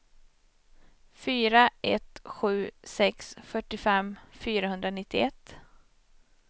fyra ett sju sex fyrtiofem fyrahundranittioett